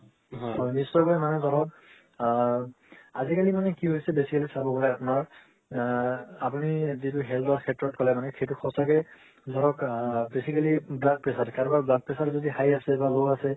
মানে ধৰক আ আজি-কালি মানে কি হৈছে basically চাব গলে আপোনাৰ এ আপুনি daily health ক্ষেত্ৰ ক'লে মানে সেইটো সচাকে ধৰক আ basically blood pressure কাৰোবাৰ blood pressure যদি high আছে বা low আছে